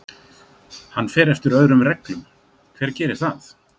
Hann fer eftir öðrum reglum, hver gerir það?